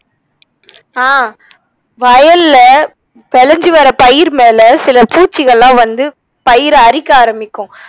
ஆஹ் வயல்ல வெளஞ்சு வர்ற பயிர் மேல சில பூச்சிகள்லாம் வந்து பயிர அரிக்க ஆரம்மிக்கும்